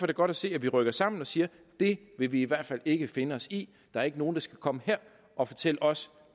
det godt at se at vi rykker sammen og siger det vil vi i hvert fald ikke finde os i der er ikke nogen der skal komme her og fortælle os